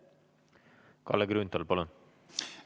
Kalle Grünthal, palun!